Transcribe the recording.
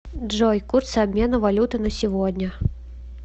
джой курсы обмена валюты на сегодня